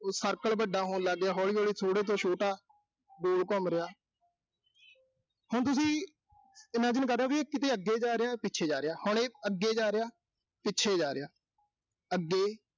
ਇਹ circle ਵੱਡਾ ਹੋਣ ਲਾਗਿਆ, ਹੌਲੀ-ਹੌਲੀ ਥੋੜੇ ਤੋਂ ਛੋਟਾ, ਗੋਲ ਘੁੰਮ ਰਿਹਾ ਹੁਣ ਤੁਸੀਂ imagine ਕਰ ਰਹੇ ਓਂ ਵੀ, ਇਹ ਕਿਤੇ ਅੱਗੇ ਜਾ ਰਿਹਾ ਕਿਤੇ ਪਿੱਛੇ ਜਾ ਰਿਹਾ। ਹੁੁਣ ਇਹ ਅੱਗੇ ਜਾ ਰਿਹਾ, ਪਿੱਛੇ ਜਾ ਰਿਹਾ। ਅੱਗੇ